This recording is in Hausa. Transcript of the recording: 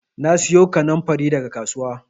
Na siyo kannanfari daga kasuwa